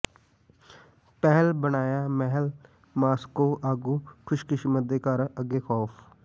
ਪਿਹਲ ਬਣਾਇਆ ਮਹਿਲ ਮਾਸ੍ਕੋ ਆਗੂ ਖੁਸ਼ਕਿਸਮਤ ਦੇ ਘਰ ਅੱਗੇ ਖ਼ੌਫ਼